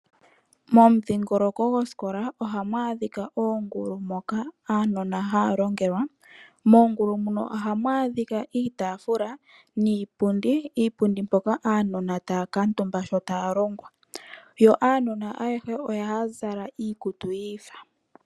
Mumidhingoloko gwosikola ohamwaadhika oongulu moka aanona haalongelwa. Moongulu ohamwaadhika iitafula niipundi hoka aanona haakatumba uuna taalongwa, yo aanona ayehe ohaazala omuzalo gwosikola gwiifa.